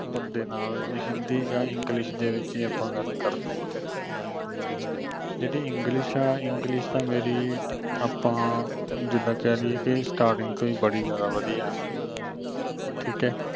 ਬੰਦੇ ਨਾਲ ਜੇ ਹਿੰਦੀ ਜਾ english ਦੇ ਵਿਚ ਆਪਾਂ ਗੱਲ ਕਰਨੀ ਆ ਜਿਹੜੀ english ਹੈ english ਤਾਂ ਮੇਰੀ ਆਪਾਂ ਜਿਦਾਂ ਕਹਿ ਦੀਏ ਕਿ starting ਤੋਂ ਹੀ ਬੜੀ ਜ਼ਿਆਦਾ ਵਧੀਆ ਠੀਕ ਹੈ।